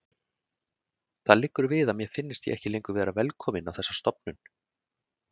Það liggur við að mér finnist ég ekki lengur vera velkominn á þessa stofnun.